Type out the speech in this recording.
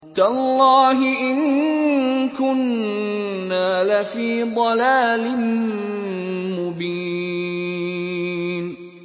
تَاللَّهِ إِن كُنَّا لَفِي ضَلَالٍ مُّبِينٍ